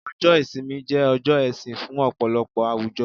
ọjọ ìsinmi je ọjọ ẹsìn fún ọpọlọpọ àwùjọ